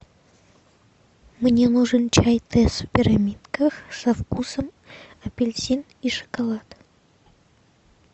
мне нужен чай тесс в пирамидках со вкусом апельсин и шоколад